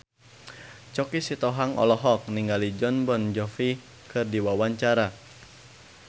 Choky Sitohang olohok ningali Jon Bon Jovi keur diwawancara